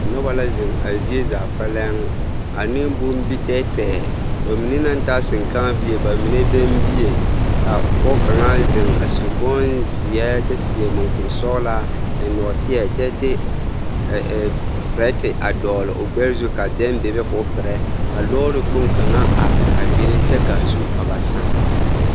Noba la zeŋ a zie zaa kpɛlɛŋ ane bombitɛɛtɛɛ, bamine naŋ ta seŋkãã bie bamine bɛŋ bie, ka pɔge kaŋa zeŋ a su bonzeɛ kyɛ seɛ mɔkuri sɔgelaa eŋ nɔɔteɛ kyɛ de perɛte a dɔgele o gbɛɛ zu ka bɛŋ bebe k'o perɛ ka lɔɔre kpoŋ kaŋa are a be kyɛ k'a zu a ba sãã.